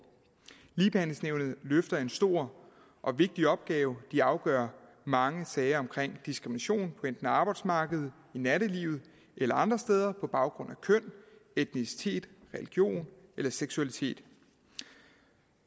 ligebehandlingsnævnet løfter en stor og vigtig opgave de afgør mange sager om diskrimination hvad på arbejdsmarkedet i nattelivet eller andre steder på baggrund af køn etnicitet religion eller seksualitet